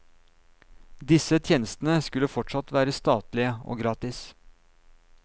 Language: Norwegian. Disse tjenestene skulle fortsatt være statlige og gratis.